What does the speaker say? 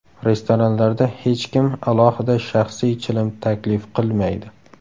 Restoranlarda hech kim alohida shaxsiy chilim taklif qilmaydi.